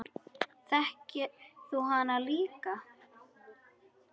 Þekkir þú hana líka?